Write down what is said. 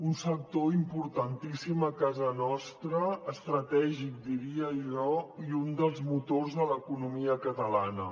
un sector importantíssim a casa nostra estratègic diria jo i un dels motors de l’economia catalana